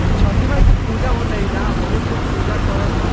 इ छठी माई के पुजा होएते ऐजा बहुत लोग पुजा कराता।